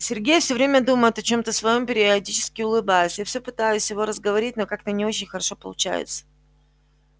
сергей все время думает о чем-то своём периодически улыбаясь а я все пытаюсь его разговорить но как-то не очень хорошо получается